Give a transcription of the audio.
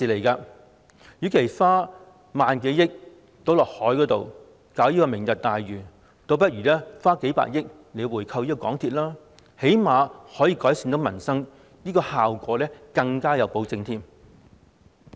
與其將萬多億元倒落海建設"明日大嶼"，倒不如花數百億元回購港鐵公司，最低限度可以改善民生，而且效果更有保證。